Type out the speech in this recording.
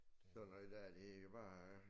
Sådan noget der det bare